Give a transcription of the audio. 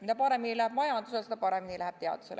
Mida paremini läheb majandusel, seda paremini läheb teadusel.